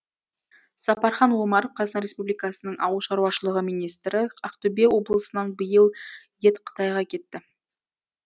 сапархан омаров қазақстан республикасының ауыл шаруашылығы министрі ақтөбе облысынан биыл ет қытайға кетті